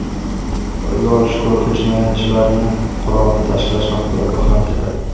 Qo‘lga olish guruhi jinoyatchilarni qurolni tashlash haqida ogohlantirdi.